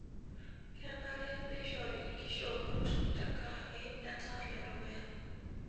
Kenare neishori nkishoorot tenkaraki etaa ledukuya.